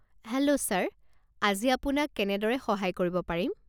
Hello sir. আজি আপোনাক কেনেদৰে সহায় কৰিব পাৰিম?